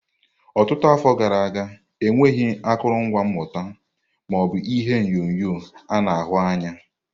Ọtụtụ afọ gara aga, enweghị akụrụngwa mmụta, ma o bu ihe onyonyo a na-ahụ anya.